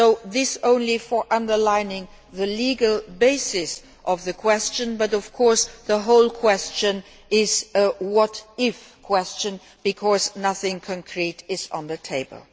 This is just to underline the legal basis of the question but, of course, the whole question is a what if' question, because nothing concrete is on the table.